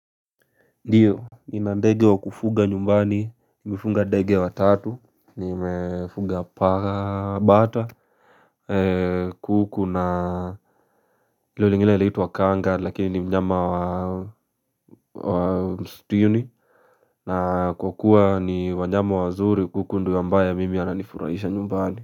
Ndiyo, nina ndege wa kufuga nyumbani, nimefunga ndege wa tatu, nimefuga paa bata kuku na ilo lingine laitwa Kanga lakini mnyama wa mstuni na kwa kuwa ni wanyama wa zuri kuku ndiyo ambaya mimi ananifurahisha nyumbani.